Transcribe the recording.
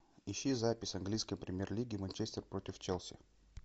ищи запись английской премьер лиги манчестер против челси